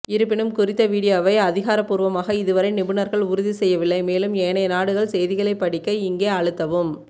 இருப்பினும் குறித்த வீடியோவை அதிகாரபூர்வமாக இதுவரை நிபுணர்கள் உறுதி செய்யவில்லை மேலும் ஏனைய நாடுகள் செய்திகளைப் படிக்க இங்கே அழுத்தவும்